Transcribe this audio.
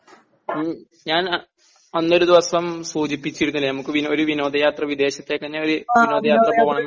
ഞാൻ അന്നൊരു ദിവസം സൂചിപ്പിച്ചിരുന്നില്ലേ നമുക്കൊരു വിനോദയാത്ര വിദേശത്തേക്ക് തന്നെ ഒരു വിനോദയാത്ര പോകണമെന്ന്